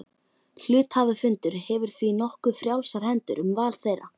Hluthafafundur hefur því nokkuð frjálsar hendur um val þeirra.